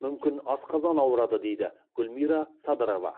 мүмкін асқазан ауырады дейді гүлмира садырова